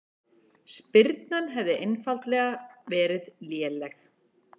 Spyrnan hefði einfaldlega verið léleg